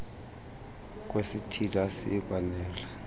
kwesithili asiyi kwanela